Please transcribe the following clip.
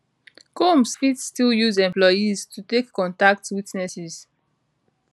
combs fit still use employees to take contact witnesses